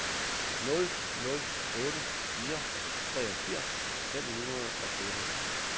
nul nul otte fire treogfirs fem hundrede og otteogtyve